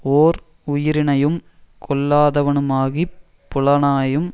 ஓர் உயிரினையும் கொல்லாதவனுமாகிப் புலாலையும்